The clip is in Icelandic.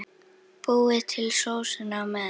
Búið til sósuna á meðan.